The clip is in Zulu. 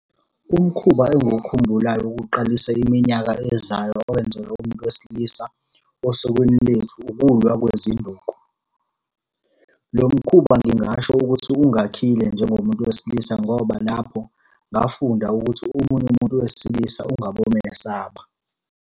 Umkhuba engiwukhumbulayo wokuqalisa iminyaka ezayo owenzelwa umuntu wesilisa, osukwini lethu ukulwa kwezinduku. Lo mkhuba ngingasho ukuthi ungakhile njengomuntu wesilisa, ngoba lapho ngafunda ukuthi omunye umuntu wesilisa ungabomesaba.